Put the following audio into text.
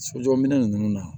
Sojɔ minɛn ninnu na